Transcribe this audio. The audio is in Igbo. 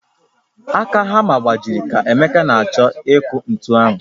Aka hamma gbajịrị ka emeka na-achọ ịkụ ntu ahụ